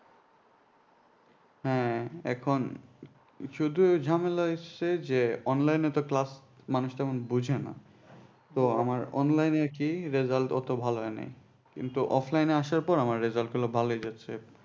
হ্যাঁ এখন শুধু ঝামেলা হয়েছে যে online এ তো class মানুষ তেমন বোঝেনা তো আমার online এ কি result অত ভালো হয়নি কিন্তু offline এ আসার পর আমার result গুলো ভালো গেছে।